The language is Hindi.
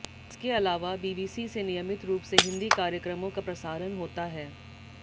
इसके अलावा बीबीसी से नियमित रूप से हिंदी कार्यक्रमों का प्रसारण होता है